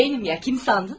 Mənim ya, kim sandın?